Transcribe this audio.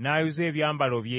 n’ayuza ebyambalo bye.